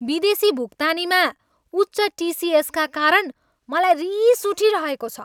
विदेशी भुक्तानीमा उच्च टिसिएसका कारण मलाई रिस उठिरहेको छ।